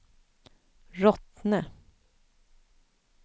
Rottne